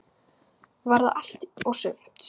Var það allt og sumt?